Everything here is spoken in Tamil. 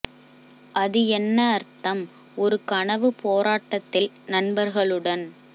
அது என்ன அர்த்தம் ஒரு கனவு போராட்டத்தில் நண்பர்களுடன்